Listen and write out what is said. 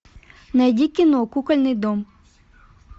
найди кино кукольный дом